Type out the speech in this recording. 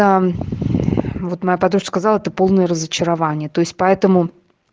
аа вот моя подружка сказала ты полное разочарование то есть поэтому